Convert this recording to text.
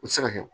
U ti se ka kɛ o